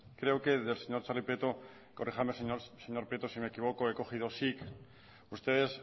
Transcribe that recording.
creo que del señor xabi prieto corríjame señor prieto si me equivoco he cogido sic ustedes